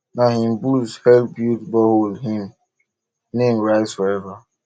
na him bulls help build borehole him name rise forever